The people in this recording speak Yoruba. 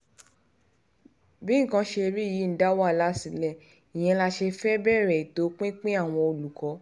bí nǹkan ṣe rí yìí ń dá wàhálà sílẹ̀ ìyẹn la ṣe fẹ́ẹ́ um bẹ̀rẹ̀ ètò pinpin àwọn olùkọ́ um